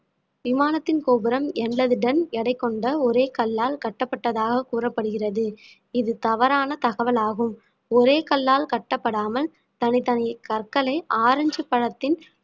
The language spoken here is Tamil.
விமானத்தின் கோபுரம் என்பது டன் எடை கொண்ட ஒரே கல்லால் கட்டப்பட்டதாக கூறப்படுகிறது இது தவறான தகவல் ஆகும் ஒரே கல்லால் கட்டப்படாமல் தனித்தனி கற்களை ஆரஞ்சு பழத்தின்